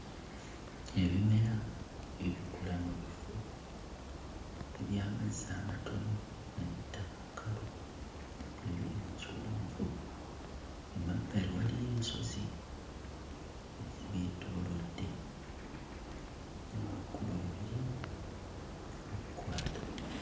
Ebimera ebikula mu bifo eby'amazzi amatono nga n'ettaka kkalu ebiri mu kiwonvu. Emabbali waliyo ensozi ezibyetoolodde ne waggulu ebire nga bikwata.